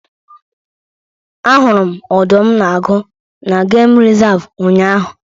Ahụrụ m Ọdụm na Agụ n'geem resavu ụnyaahụ